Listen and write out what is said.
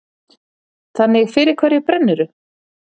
Þannig fyrir hverju brennurðu?